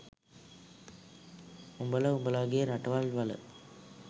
උඹල උඹලගේ රටවල් වල